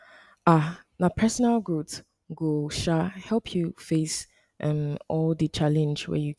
um na personal growth go um help you face um all di challenge wey you get